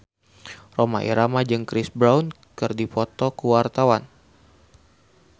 Rhoma Irama jeung Chris Brown keur dipoto ku wartawan